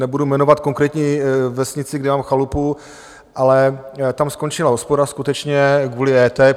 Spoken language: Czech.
Nebudu jmenovat konkrétní vesnici, kde mám chalupu, ale tam skončila hospoda skutečně kvůli EET.